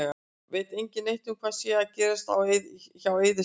Veit engin neitt um hvað sé að gerast hjá Eiði Smára?